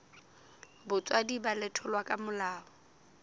botswadi ba letholwa ka molao